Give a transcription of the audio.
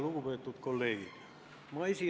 Lugupeetud kolleegid!